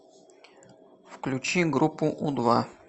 включи группу у два